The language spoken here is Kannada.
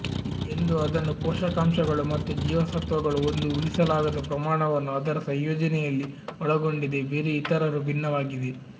ಎಂದು ಅದನ್ನು ಪೋಷಕಾಂಶಗಳು ಮತ್ತು ಜೀವಸತ್ವಗಳು ಒಂದು ಊಹಿಸಲಾಗದ ಪ್ರಮಾಣವನ್ನು ಅದರ ಸಂಯೋಜನೆಯಲ್ಲಿ ಒಳಗೊಂಡಿದೆ ಬೆರ್ರಿ ಇತರರು ಭಿನ್ನವಾಗಿದೆ